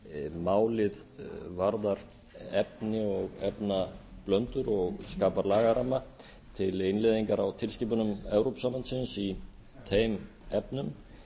málið varðar efni og efnablöndur og skapar lagaramma til innleiðingar á tilskipunum evrópusambandsins í þeim efnum